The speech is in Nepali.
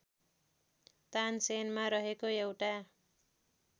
तानसेनमा रहेको एउटा